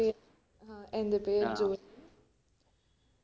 ഏർ എന്റെ പേര്